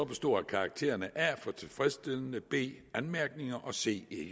bestå af karaktererne a for tilfredsstillende b anmærkninger og c